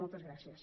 moltes gràcies